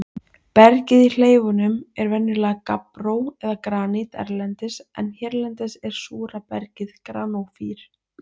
Bergið í hleifunum er venjulega gabbró eða granít erlendis en hérlendis er súra bergið granófýr.